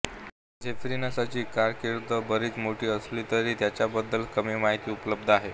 झेफिरिनसची कारकीर्द बरीच मोठी असली तरी त्याच्याबद्दल कमी माहिती उपलब्ध आहे